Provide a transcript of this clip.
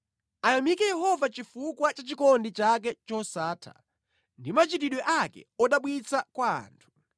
Ayamike Yehova chifukwa cha chikondi chake chosatha ndi machitidwe ake odabwitsa kwa anthu.